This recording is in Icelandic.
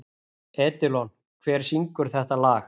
Edilon, hver syngur þetta lag?